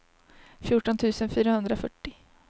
fjorton tusen fyrahundrafyrtio